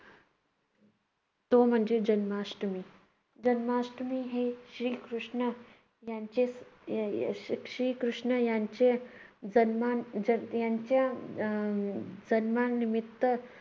तो म्हणजे जन्माष्ठमी. जन्माष्ठमी हे श्रीकृष्ण यांचे या श्रीकृष्ण यांचे जन्मा~ जन्म यांच्या यांच्या अं जन्मानिमित्त